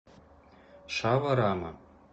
шаварама